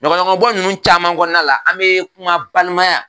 Ɲɔgɔnɲɔgɔnbɔ ninnu caman kɔnɔna la an bɛ kuma balimaya